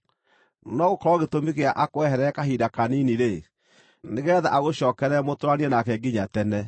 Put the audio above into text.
No gũkorwo gĩtũmi gĩa akweherere kahinda kanini-rĩ, nĩgeetha agũcookerera mũtũũranie nake nginya tene,